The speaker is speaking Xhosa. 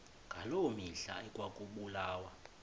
ngaloo mihla ekwakubulawa